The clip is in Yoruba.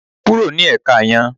Kúrò ní èka yan